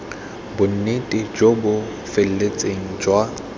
bonnete jo bo feletseng jwa